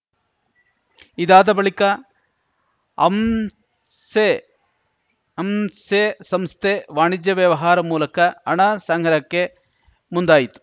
ಇದಾದ ಬಳಿಕ ಅಂಸೆ ಅಂಸೆ ಸಂಸ್ಥೆ ವಾಣಿಜ್ಯ ವ್ಯವಹಾರ ಮೂಲಕ ಹಣ ಸಂಗ್ರಹಕ್ಕೆ ಮುಂದಾಯಿತು